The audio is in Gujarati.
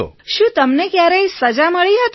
વિનોલે શું તમને કયારેય સજા મળી હતી